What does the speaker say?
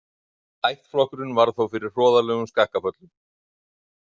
Ættflokkurinn varð þó fyrir hroðalegum skakkaföllum.